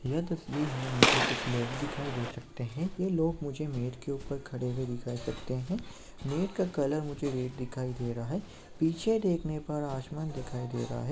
यह तस्वीर में मुझे कुछ लोग दिखाई दे सकते है ये लोग मुझे मेट के ऊपर खड़े हुए दिखाई सकते है मेट का कलर मुझे रेड दिखाई दे रहा है पीछे देखने पर आसमान दिखाई दे रहा हैं।